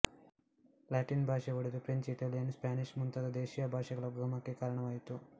Latin ಭಾಷೆ ಒಡೆದು French Italian Spanish ಮುಂತಾದ ದೇಶೀಯ ಭಾಷೆಗಳ ಉಗಮಕ್ಕೆ ಕಾರಣವಾಯಿತು